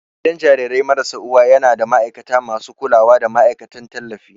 Gidan jarirai marasa uwa yana da ma'aikata masu kulawa da ma'aikatan tallafi.